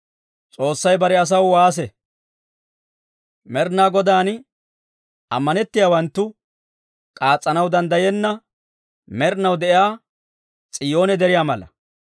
Med'inaa Godaan ammanettiyaawanttu k'aas's'anaw danddayenna, med'inaw de'iyaa S'iyoone deriyaa mala.